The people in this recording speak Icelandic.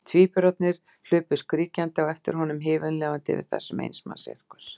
Tvíburarnir hlupu skríkjandi á eftir honum, himinlifandi yfir þessum eins manns sirkus.